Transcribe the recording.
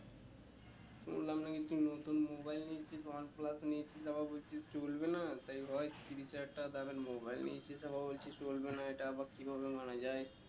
শুনলাম নাকি তুই নতুন mobile নিয়েছিস oneplus নিয়েছিস আবার বলছিস চলবে না তাই হয়ে তিরিশ হাজার টাকা দামের mobile নিয়েছিস আবার বলছিস চলবে না এইটা আবার কি ভাবে মানা যায়